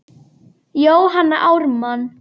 Jóhanna Ármann.